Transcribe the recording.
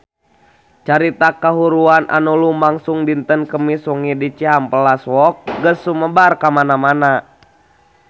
Carita kahuruan anu lumangsung dinten Kemis wengi di Cihampelas Walk geus sumebar kamana-mana